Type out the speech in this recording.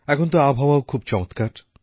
এখন তো আবহাওয়াও খুব চমৎকার